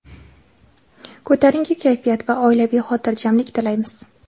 ko‘tarinki kayfiyat va oilaviy xotirjamlik tilaymiz!.